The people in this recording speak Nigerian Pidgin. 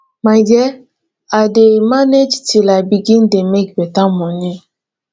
my dear i go dey manage till i begin dey make beta moni